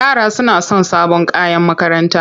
Yara suna son sabon kayan makaranta.